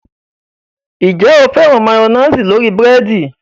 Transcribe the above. Ǹjẹ́ o féràn máyọ́néésì lórí búrẹ́dì?